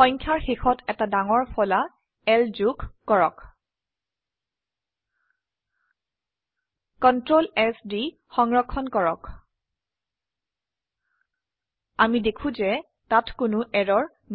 সংখ্যাৰ শেষত এটা ডাঙৰ ফলা L যোগ কৰক Ctrl S দি সংৰক্ষন কৰক আমি দেখো যে তাত কোনো এৰৰ নেই